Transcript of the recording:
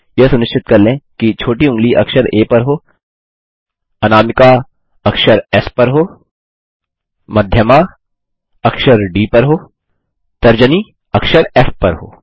यह सुनिश्चित कर लें कि छोटी ऊँगली अक्षर आ पर हो अनामिका अक्षर एस पर हो मध्यमा अक्षर डी पर हो तर्जनी अक्षर फ़ पर हो